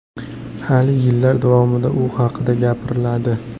Hali yillar davomida u haqida gapiriladi.